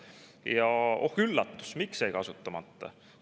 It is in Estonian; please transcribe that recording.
Ja oh üllatust, miks jäi kasutamata?